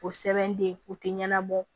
O sɛbɛnden o tɛ ɲɛnabɔ